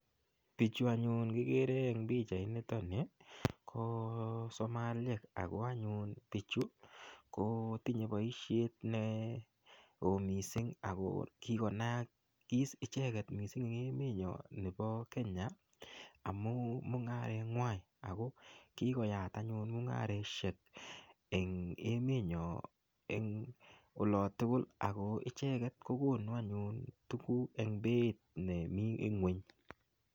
Biichu anyun kigere eng pichainitoni ko somaliek ago anyun biichu kotinye boisiet ne oo mising ago kikonaakis icheget mising en emenyon nebo Kenya amu mungarengwai. Ago kikoyat anyun mungaresiek eng emenyo eng olotugul ago icheget kogunu anyun tuguk eng beit nemi ing'wony.